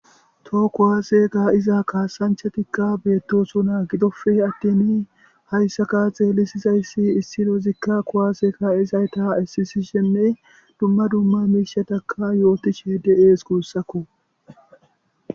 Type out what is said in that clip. Toho kuwaase kaa7iza kaassanchchathikka beeththoosona; gidoppe aththiini hayssakka xeellissizayssi issi loozikka kuwaase kaa7ezayta ississishenne dumma dumma miishshatha yoothishe de7ees gussakkoo.